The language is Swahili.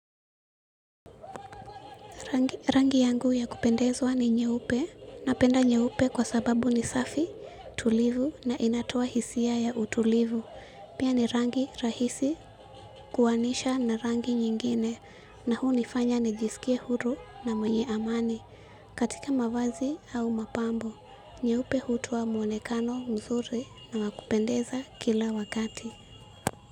Rangi yangu ya kupendezwa ni nyeupe. Napenda nyeupe kwa sababu ni safi, tulivu na inatoa hisia ya utulivu. Pia ni rangi rahisi kuanisha na rangi nyingine na huu unifanya nijisikie huru na mwenye amani katika mavazi au mapambo. Nyeupe hutoa mwonekano mzuri na wa kupendeza kila wakati.